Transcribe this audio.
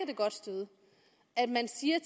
det godt støde at man siger